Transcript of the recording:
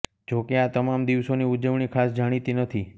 જોકે આ તમામ દિવસોની ઉજવણી ખાસ જાણીતી નથી